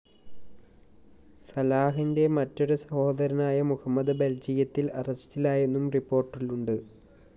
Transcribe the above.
സലാഹിന്റെ മറ്റൊരു സഹോദരനായ മുഹമ്മദ് ബെല്‍ജിയത്തില്‍ അറസ്റ്റിലായെന്നും റിപ്പോര്‍ട്ടുണ്ട്